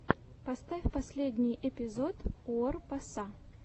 поставь последний эпизод уор паса